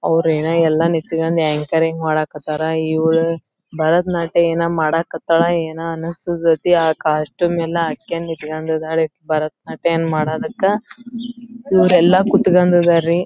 ಅವರು ಏನೋ ಎಲ್ಲಾ ನಿಂತಕೊಂಡು ಆಂಕರಿಂಗ್ ಮಾಡಕ್ಕತರ. ಇವಳು ಭರತನಾಟ್ಯ ಏನೋ ಮಾಡಕ್ಕತಳ ಏನೋ ಅನ್ನಸ್ತದಿ ಆ ಕಾಸ್ಟ್ಯೂಮ್ ಎಲ್ಲಾ ಹಾಕೊಂಡ್ ನಿತ್ಕೊಂಡಿದಳೇ ಇಕಿ ಭರತನಾಟ್ಯ ಏನ್ ಮಾಡದಕ್ಕ ಇವರೆಲ್ಲಾ ಕೂತಕೊಂಡಿದರಿ.